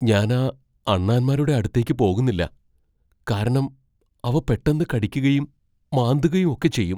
ഞാൻ ആ അണ്ണാന്മാരുടെ അടുത്തേക്ക് പോകുന്നില്ല, കാരണം അവ പെട്ടന്ന് കടിക്കുകയും, മാന്തുകയും ഒക്കെ ചെയ്യും.